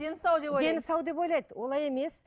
дені сау деп ойлайды дені сау деп ойлайды олай емес